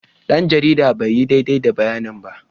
Dan jaridar bai yi daidai da bayanin ba.